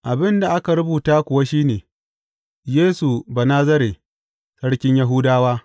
Abin da aka rubuta kuwa shi ne, Yesu Banazare, Sarkin Yahudawa.